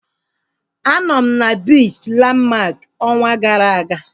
A nọ m na biichi Landmark ọnwa gara aga